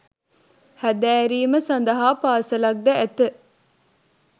හැදෑරීම සඳහා පාසලක් ද ඇත